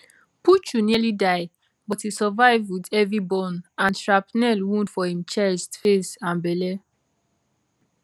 puchu nearly die but e survive wit heavy burn and shrapnel wound for im chest face and belle